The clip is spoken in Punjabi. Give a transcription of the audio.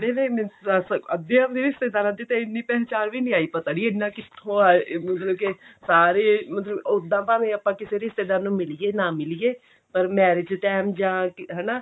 ਕਿਹੜੇ ਨੇ ਦੱਸ ਅੱਧਿਆਂ ਦੀ ਤਾਂ ਰਿਸ਼ਤੇਦਾਰਾਂ ਦੀ ਇੰਨੀ ਪਹਿਚਾਣ ਵੀ ਨਹੀਂ ਆਈ ਪਤਾ ਨਹੀਂ ਇੰਨਾ ਕਿੱਥੋਂ ਆਏ ਮਤਲਬ ਕੀ ਸਾਰੇ ਮਤਲਬ ਉੱਦਾਂ ਭਾਵੇਂ ਆਪਾਂ ਕਿਸੀ ਰਿਸ਼ਤੇਦਾਰ ਨੂੰ ਮਿਲੀਏ ਨਾ ਮਿਲੀਏ ਪਰ marriage time ਜਾਂ ਹਨਾ